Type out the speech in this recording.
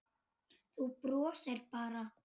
Þú brosir bara!